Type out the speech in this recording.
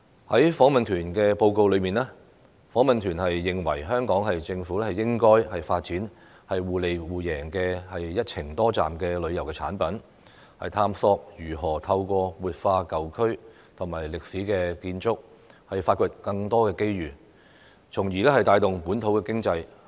在訪問團的報告中，訪問團認為香港政府應該發展互利互贏的"一程多站"旅遊產品，探索如何透過活化舊區和歷史建築，發掘更多的機遇，從而帶動本土經濟。